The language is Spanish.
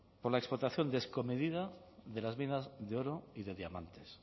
con la explotación descomedida de las minas de oro y de diamantes